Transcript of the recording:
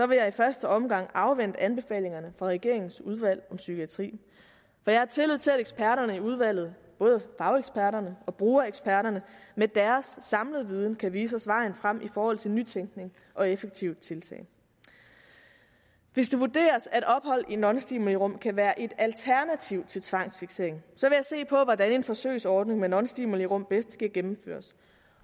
vil jeg i første omgang afvente anbefalingerne fra regeringens udvalg om psykiatri for jeg har tillid til at eksperterne i udvalget både fageksperterne og brugereksperterne med deres samlede viden kan vise os vejen frem i forhold til nytænkning og effektive tiltag hvis det vurderes at ophold i nonstimulirum kan være et alternativ til tvangsfiksering vil se på hvordan en forsøgsordning med nonstimulirum bedst kan gennemføres